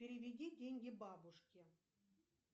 переведи деньги бабушке